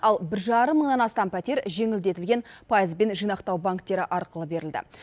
ал бір жарым мыңнан астам пәтер жеңілдетілген пайызбен жинақтау банктері арқылы берілді